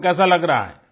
आपको कैसा लग रहा है